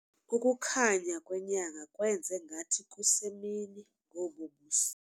Ukukhanya kwenyanga kwenze ngathi kusemini ngobu busuku.